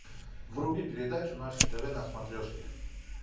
вруби передачу наше тв на смотрешке